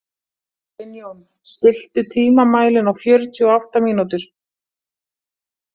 Sveinjón, stilltu tímamælinn á fjörutíu og átta mínútur.